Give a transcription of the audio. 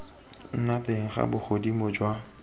nna teng ga bogodimo jwa